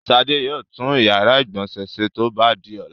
Ṣadé yóò tún ìyàrá-ìgbọ̀nsẹ̀ ṣe tó bá di ọ̀la.